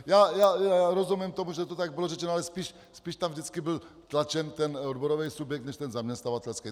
Já rozumím tomu, že to tak bylo řečeno, ale spíš tam vždycky byl tlačen ten odborový subjekt než ten zaměstnavatelský.